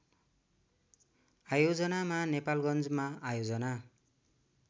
आयोजनामा नेपालगन्जमा आयोजना